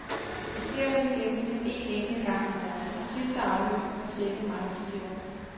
Det sker vel i gennemsnit en enkelt gang om året, og sidste aflysning var sjette marts i fjor.